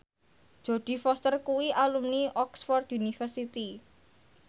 Jodie Foster kuwi alumni Oxford university